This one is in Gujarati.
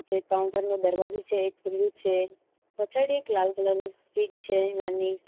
જે કાઉન્ટર નો દરવાજો છે એ ખુલ્લું છે પછાડી એક લાલ કલર ની સ્વીચ છે નાની.